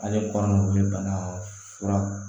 Ale baganw wuli bana fura